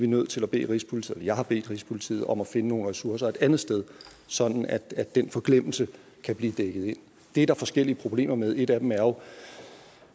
nødt til at bede rigspolitiet eller jeg har bedt rigspolitiet om at finde nogle ressourcer et andet sted sådan at den forglemmelse kan blive dækket ind det er der forskellige problemer med et af dem er jo